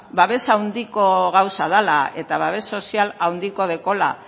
babes handiko gauza dela eta babes sozial handia daukala